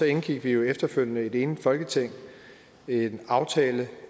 indgik vi jo efterfølgende i et enigt folketing en aftale